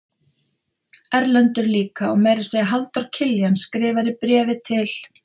Erlendur líka og meira að segja Halldór Kiljan skrifar í bréfi til